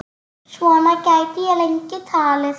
Svona gæti ég lengi talið.